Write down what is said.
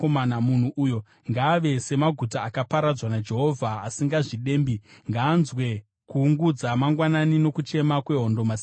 Munhu uyo ngaave semaguta akaparadzwa naJehovha asingazvidembi. Ngaanzwe kuungudza mangwanani, nokudanidzirwa kwehondo masikati.